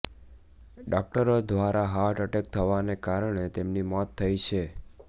ડોક્ટરો ઘ્વારા heart attack થવાને કારણે તેમની મૌત થઇ છે